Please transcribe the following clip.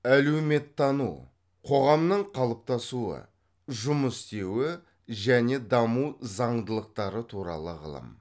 әлеуметтану қоғамның қалыптасуы жұмыс істеуі және даму заңдылықтары туралы ғылым